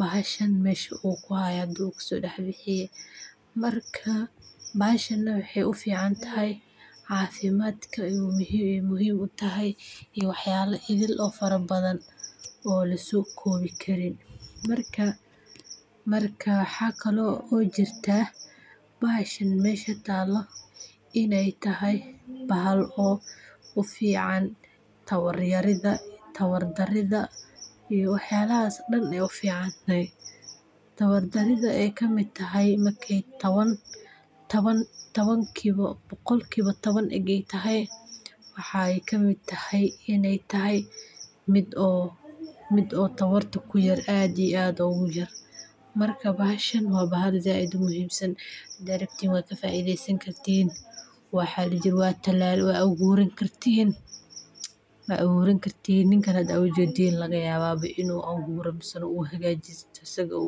bahashan mesh u ku haya ayu hada kaso dax bixiye marka bahashana waxee u ficantahay cafimaadka ayu muhiim u ayey muhiim u tahay iyo waxyala kale ithil oo fara badan oo laso kowi karin marka waxaa kale oo jirta bahashan mesha talo in ee tahay bahal oo u fican tawar yarida iyo waxyalahas dan ayey u fican tahay tawar daridha ee kamiid tahay boqolkiwa tawan ege tahay waxee kamiid tahay in mid tawarta aad iyo aad ogu yar marka bahashan waa bahal said u muhiim san hadii arabtin waa ka faidhesan kartin hadii aa rabtin waa aburan kartin ninkan hada aa ujedin laga yawa in u aburto misne u hagajisto isaga.